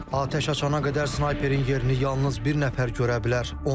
Atəş açana qədər snayperin yerini yalnız bir nəfər görə bilər.